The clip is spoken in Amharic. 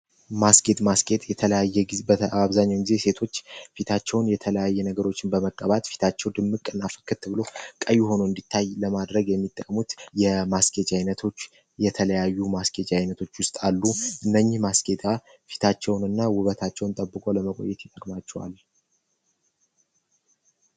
ማስኬት የተለያየ ጊዜ ሴቶች ፊታቸውን የተለያየ ነገሮችን በመቀባት ፊታቸው ቀይ ሆኖ እንዲታይ ለማድረግ የሚጠቅሙት የማስኬድ አይነቶች የተለያዩ አስቂኝ ዓይነቶች ውስጥ አሉ እነኚህ ማስኬታ ሴቶች ፊታቸውን እና ውበታቸውን ጠብቆ ለመቆየት ያስችላቸዋል።